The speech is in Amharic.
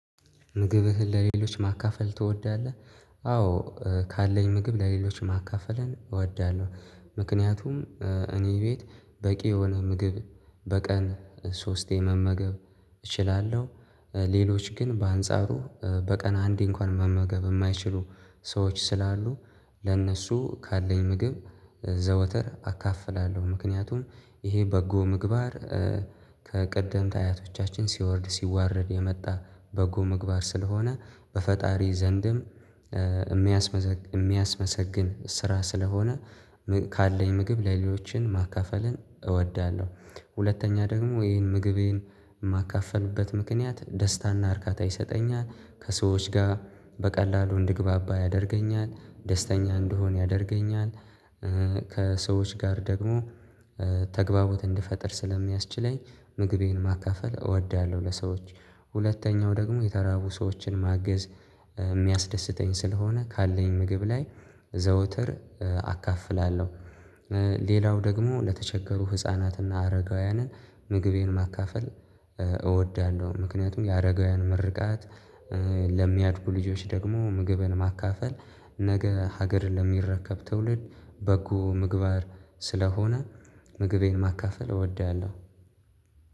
ምግብህን ለሌሎች ማካፈል ትወዳለህ? አዎ ካለኝ ምግብ ለሌሎች ማካፈልን እወዳለሁ ምክንያቱም እኔ ቤት በቂ የሆነ ምግብ በቀን ሶስቴ መመገብ እችላለሁ። ሌሎች ግን በአንጻሩ በቀን አንዴ እንኳን መመገብ የማይችሉ ሰዎች ስላሉ ለእነሱ ካለኝ ምግብ ዘወትር አካፍላለሁ ምክንያቱም ይሄ በጎ ምግባር ከቀደምት አያቶቻችን ሲወርድ ሲዋረድ የመጣ በጎ ምግባር ስለሆነ በፈጣሪ ዘንድም የሚያስመሰግን ስራ ስለሆነ ካለኝ ምግብ ለሌሎችን ማካፈልን እወዳለሁ። ሁለተኛ ደግሞ ይሄን ምግቤን የማካፍልበት ምክንያት ደስታና እርካታ ይሰጠኛል ከሰዎች ጋር በቀላሉ እንድግባባ ያደርገኛል ደስተኛ እንድሆን ያደርገኛል። ከሰዎች ጋር ደግሞ ተግባቦት እንድፈጥር ስለሚያስችለኝ ምግቤን ማካፈል እወዳለሁ። ለሰዎች ሁለተኛው ደግሞ የተራቡ ሰዎችን ማገዝ የሚያስደስተኝ ስለሆነ ካለኝ ምግብ ላይ ዘውትር አካፍላለሁ። ሌላው ደግሞ ለተቸገሩ ህፃናትና አረጋውያንን ምግቤን ማካፈል እወዳለሁ። ምክንያቱም የአረጋውያን ምርቃት ለሚያድጉ ልጆች ደግሞ ምግብን ማካፈል ነገ ሀገርን ለሚረከብ ትውልድ በጎ ምግባር ስለሆነ ምግቤን ማካፈል እወዳለሁ።